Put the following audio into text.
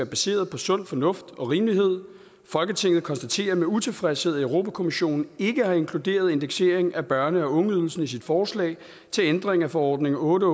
baseret på sund fornuft og rimelighed folketinget konstaterer med utilfredshed at europa kommissionen ikke har inkluderet indeksering af børne og ungeydelsen i sit forslag til ændring af forordning otte